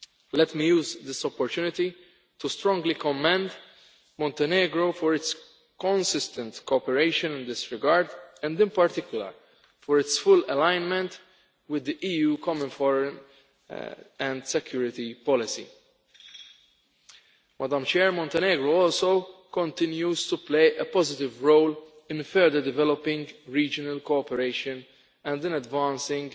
Let me use this opportunity to strongly commend Montenegro for its consistent cooperation in this regard and in particular for its full alignment with the EU common foreign and security policy. Montenegro also continues to play a positive role in further developing regional cooperation and in advancing